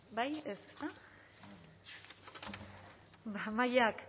ba mahaiak